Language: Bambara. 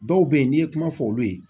Dɔw bɛ yen n'i ye kuma fɔ olu ye